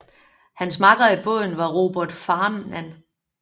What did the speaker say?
Hans makker i båden var Robert Farnan